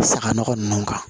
Saga nɔgɔ nunnu kan